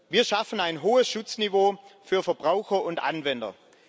Wir schaffen ein hohes Schutzniveau für Verbraucher und Anwender.